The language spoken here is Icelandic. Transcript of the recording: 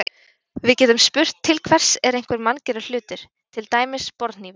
Við getum spurt til hvers er einhver manngerður hlutur, til dæmis borðhnífur.